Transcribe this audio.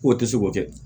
K'o tɛ se k'o kɛ